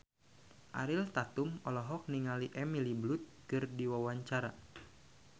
Ariel Tatum olohok ningali Emily Blunt keur diwawancara